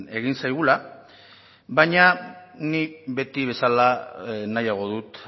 egin zaigula baina nik beti bezala nahiago dut